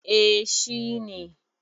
Eh shi ne.